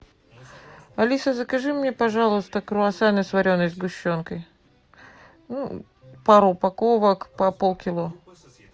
алиса закажи мне пожалуйста круассаны с вареной сгущенкой пару упаковок по полкило